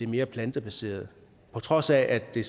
mere plantebaserede på trods af at det